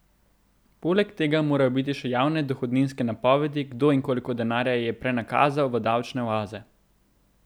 Poleg tega morajo biti še javne dohodninske napovedi, kdo in koliko denarja je prenakazal v davčne oaze.